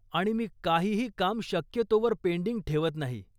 आणि मी काहीही काम शक्यतोवर पेंडिंग ठेवत नाही.